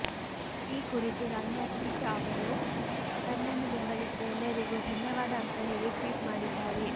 ಈ ಕುರಿತು ರಮ್ಯಾ ಟ್ವೀಟ್ ಅವರು ತನ್ನನ್ನು ಬೆಂಬಲಿಸಿದ ಎಲ್ಲರಿಗೂ ಧನ್ಯವಾದ ಅಂತ ಹೇಳಿ ಟ್ವೀಟ್ ಮಾಡಿದ್ದಾರೆ